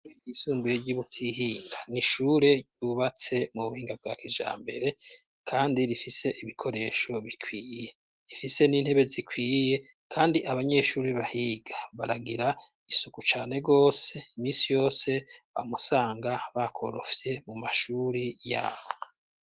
Ishure ryisumbuye ry'iButihinda, n'ishure ryubatse mu buhinga bwa kijambere, kandi rifise ibikoresho bikwiye ,rifise n'intebe zikwiye ,kandi abanyeshuri bahiga baragira isuku cane gose imisi yose wamusanga bakoropfye mu mashuri yabo.